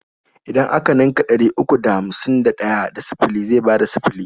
Idan a ka ninka ɗari uku da hamsin da ɗaya da sifili zai bada sifili.